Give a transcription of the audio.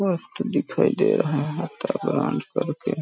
मस्त दिखाई दे रहा है कर के --